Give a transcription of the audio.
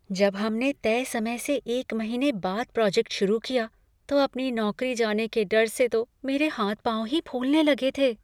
जब हमने तय समय से एक महीने बाद प्रोजेक्ट शुरू किया, तो अपनी नौकरी जाने के डर से तो मेरे हाथ पाँव ही फूलने लगे थे।